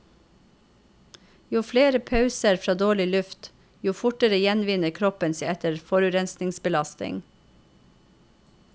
Jo flere pauser fra dårlig luft, jo fortere gjenvinner kroppen seg etter forurensningsbelastning.